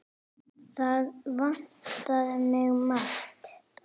Það vantaði margt.